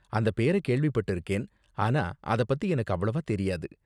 அந்த பேர கேள்விப்பட்டிருக்கேன், ஆனா அத பத்தி எனக்கு அவ்வளவா தெரியாது.